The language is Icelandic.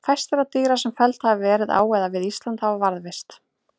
Fæst þeirra dýra sem felld hafa verið á eða við Ísland hafa varðveist.